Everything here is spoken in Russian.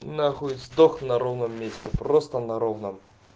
на хуй сдох на ровном месте просто на ровном